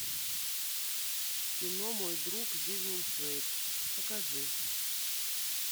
кино мой друг зигмунд фрейд покажи